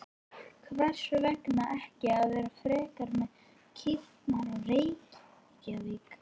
Hvers vegna ekki að vera frekar með kýrnar í Reykjavík?